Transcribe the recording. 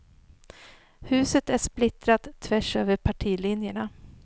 Huset är splittrat tvärs över partilinjerna.